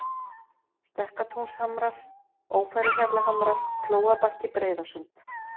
Stekkatúnshamrar, Ófæruhjallahamrar, Flóabakki, Breiðasund